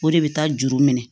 O de bɛ taa juru minɛ